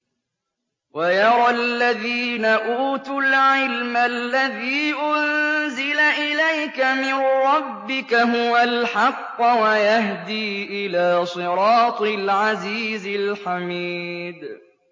وَيَرَى الَّذِينَ أُوتُوا الْعِلْمَ الَّذِي أُنزِلَ إِلَيْكَ مِن رَّبِّكَ هُوَ الْحَقَّ وَيَهْدِي إِلَىٰ صِرَاطِ الْعَزِيزِ الْحَمِيدِ